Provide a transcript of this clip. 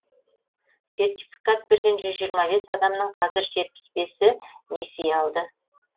сертификат берген жүз жиырма бес адамның қазір жетпіс бесі несие алды